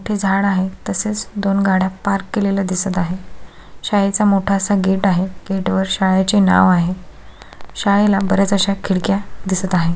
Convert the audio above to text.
मोठे झाड आहे तसेच दोन गाड्या पार्क केलेल्या दिसत आहे शाळेचा मोठा असा गेट आहे गेट वर शाळेचे नाव आहे शाळेला बर्याच अश्या खिडक्या दिसत आहे.